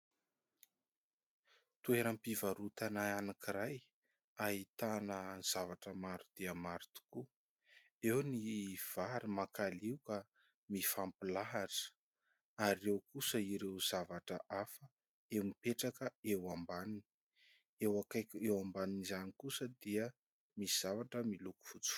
Toeram-pivarotana anankiray ahitana zavatra maro dia maro tokoa. Eo ny vary makalioka mifampilahatra, ary eo kosa ireo zavatra hafa izay mipetraka eo ambaniny. Eo akaiky eo ambanin'izany kosa dia misy zavatra miloko fotsy.